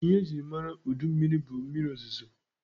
Ihe e jiri mara udu mmịrị bụ mmịrị ozozo.